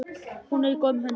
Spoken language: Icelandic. Hún er í góðum höndum.